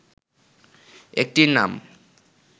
একটির নাম